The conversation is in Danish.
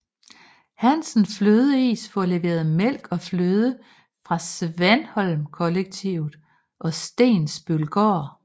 Hansens Flødeis får leveret mælk og fløde fra Svanholmkollektivet og Stensbølgård